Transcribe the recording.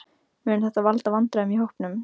Mun þetta valda vandræðum í hópnum?